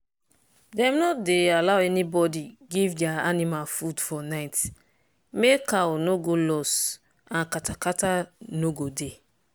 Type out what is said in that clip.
dem no dey allow anybody give their animal food for night make cow no go loss and kata-kata no go dey.